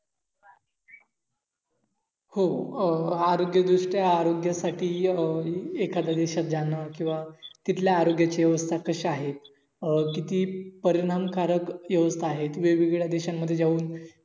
हो अह आरोग्य दृष्ट्या आरोग्यह्यासाटी अं एखाद्या देशात जान किंव्हा तिथल्या आरोग्या ची व्यवस्था कशा आहेतकिती परिणाम कारक व्यवस्था आहेत. वेगवेगळ्या देशांमध्ये जाऊन